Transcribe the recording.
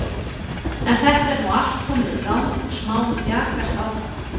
En þetta er nú allt komið í gang og smámjakast áfram.